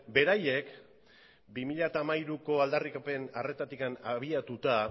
beraiek bi mila hamairuko aldarrikapen arretatik abiatuta